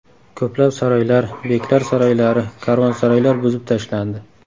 Ko‘plab saroylar, beklar saroylari, karvonsaroylar buzib tashlandi.